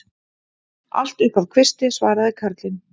Allt upp að kvisti, svaraði karlinn.